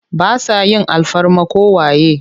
Ba sa yin alfarma ko waye.